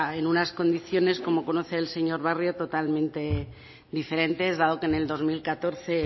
en unas condiciones como conoce el señor barrio totalmente diferentes dado que en el dos mil catorce